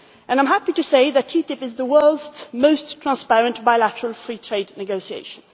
I am happy to say that TTIP is the world's most transparent bilateral free trade negotiation.